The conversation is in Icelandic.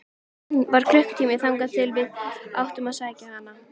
Enn var klukkutími þangað til við áttum að sækja hana.